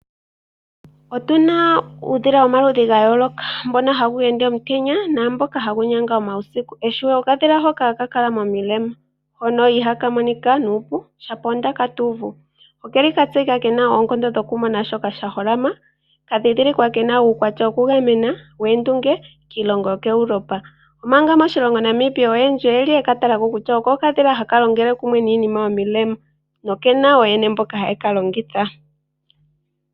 Otuna uudhila womaludhi gayooloka, puna wumwe hawu ende omutenya nawumwe hawu nyanga uusiku. Ehwiyu oko okadhila hoka hakakala momilema hono iha ka monika nuupu shapo ewi tuuvu, okeli katseyika kena oonkondo dhoku mona shoka sha holama. Oka dhidhilikwa kena uukwatya wokugamena woondunge kiilonga yokuEuropa. Omanga moshilongo Namibia oyendji oyekatalako onga okadhila hoka haka longele kumwe niinima yomilema no kena ooyene mboka haye kalongitha.